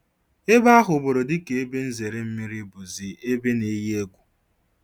Ebe ahụburu dịka ebe nzere mmiri bụzị ebe n-eyi egwu.